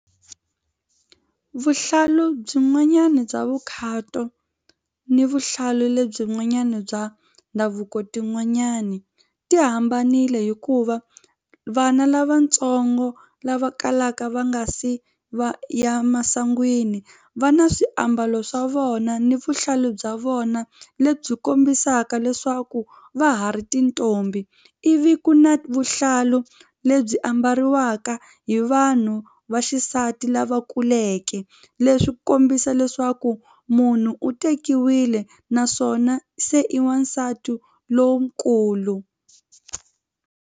Vuhlalu byin'wanyana bya vukhato ni vuhlalu lebyi n'wanyana bya ndhavuko tin'wanyani ti hambanile hikuva vana lavatsongo lava kalaka va nga si va ya emasangwini va na swiambalo swa vona ni vuhlalu bya vona lebyi kombisaka leswaku va ha ri tintombi ivi ku na vuhlalu lebyi ambariwaka hi vanhu va xisati lava kuleke leswi kombisa leswaku munhu u tekiwile naswona se i wasati lonkulu.